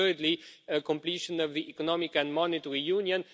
and thirdly, completion of the economic and monetary union.